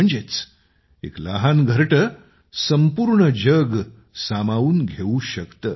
म्हणजेच एक लहान घरटे संपूर्ण जग सामावून घेऊ शकते